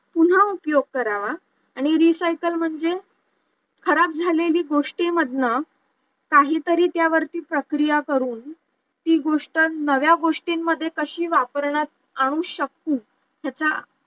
पुन्हा उपयोग करावा आणि recycle म्हणजे खराब झालेल्या गोष्टींमधनं काही तरी त्या वरती प्रक्रिया करून ती गोष्ट नव्या गोष्टींमध्ये कशी वापरण्यात आणू शकू त्याचा